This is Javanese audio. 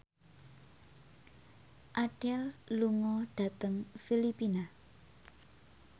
Adele lunga dhateng Filipina